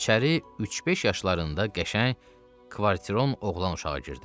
İçəri üç-beş yaşlarında qəşəng kvarteron oğlan uşağı girdi.